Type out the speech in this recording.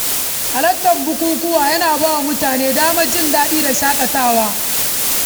Halartar bukukuwa yana ba wa mutane damar jin daɗi da shaƙatawa.